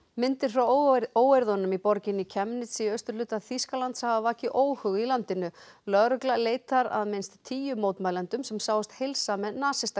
myndir frá óeirðunum í borginni Chemnitz í austurhluta Þýskalands hafa vakið óhug í landinu lögregla leitar að minnst tíu mótmælendum sem sáust heilsa með